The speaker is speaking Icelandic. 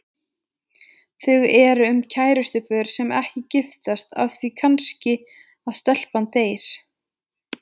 Þau eru um kærustupör sem ekki giftast af því kannski að stelpan deyr.